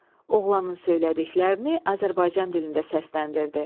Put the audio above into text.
Oğlanın söylədiklərini Azərbaycan dilində səsləndirdi.